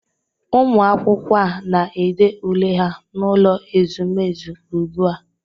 Ụmụ akwụkwọ a na-ede ule ha n'ụlọ ezumezu ugbua